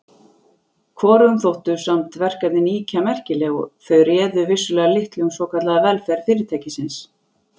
Hvorugum þóttu samt verkefnin ýkja merkileg þau réðu vissulega litlu um svokallaða velferð Fyrirtækisins.